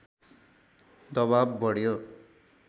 दवाब बढ्यो